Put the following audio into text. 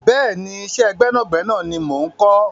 Bẹ́ẹ̀ni, iṣẹ́ gbẹ́nàgbẹ́nà ni mo ń kọ́.